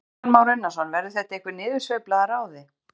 Kristján Már Unnarsson: Verður þetta einhver niðursveifla að ráði?